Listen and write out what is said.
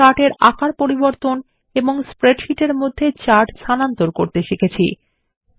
আমরা চার্ট এর আকার পরিবর্তন এবং স্প্রেডশীট মধ্যে চার্ট স্থানান্তর করতে শিখেছি